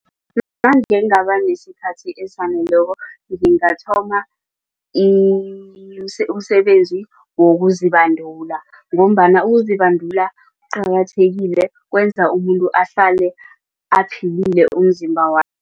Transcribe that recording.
Nange ngingabanesikhathi esaneleko nesikhathi ngingathoma umsebenzi wokuzibandula ngombana ukuzibandula kuqakathekile kwenza umuntu ahlale aphilile umzimba